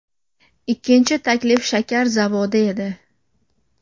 Ikkinchi taklif shakar zavodi edi.